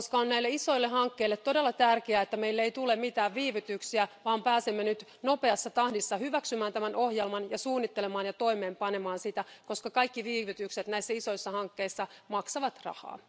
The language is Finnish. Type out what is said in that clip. Näissä isoissa hankkeissa on todella tärkeää, ettei meille tule mitään viivytyksiä, vaan pääsemme nopeassa tahdissa hyväksymään tämän ohjelman ja suunnittelemaan ja toimeenpanemaan sitä, koska kaikki viivytykset isoissa hankkeissa maksavat rahaa.